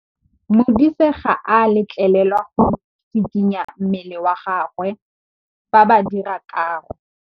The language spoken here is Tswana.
Modise ga a letlelelwa go tshikinya mmele wa gagwe fa ba dira karô.